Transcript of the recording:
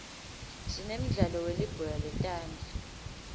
sinemdlalo welibhola letandza